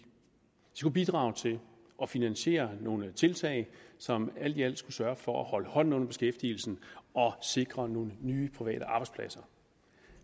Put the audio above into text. skulle bidrage til at finansiere nogle tiltag som alt i alt skulle sørge for at holde hånden under beskæftigelsen og sikre nogle nye private arbejdspladser